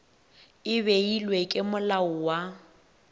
e beilwego ke molao wa